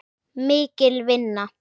Mikil vinna.